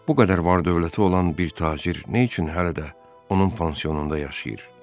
Bu qədər var-dövləti olan bir tacir nə üçün hələ də onun pansionunda yaşayır?